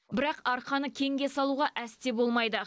бірақ арқаны кеңге салуға әсте болмайды